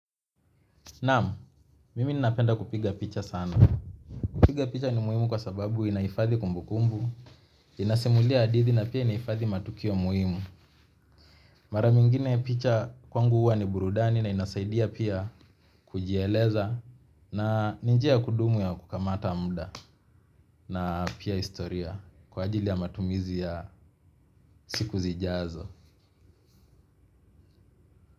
Naam, mimi ninapenda kupiga picha sana. Kupiga picha ni muhimu kwasababu inahifadhi kumbukumbu. Inasimulia hadithi na pia inahifadhi matukio muhimu. Mara nyingine picha kwangu huwa ni burudani na inasaidia pia kujieleza. Na ni njia ya kudumu ya kukamata muda. Na pia historia, kwaajili ya matumizi ya siku zijazo.